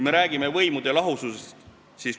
Me räägime võimude lahususest.